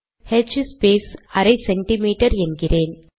அடுத்து ஹ்ஸ்பேஸ் அரை சிஎம் என்கிறேன்